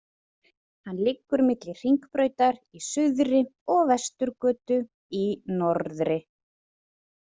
Hann liggur milli Hringbrautar í suðri og Vesturgötu í norðri.